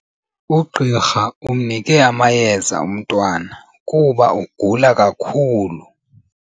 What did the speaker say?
Ugqirha umnike amayeza umntwana kuba ugula kakhulu.